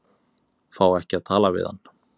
Fá ekki að tala við hann